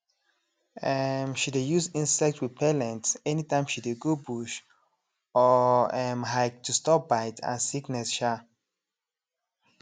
um she dey use insect repellent anytime she dey go bush or um hike to stop bite and sickness um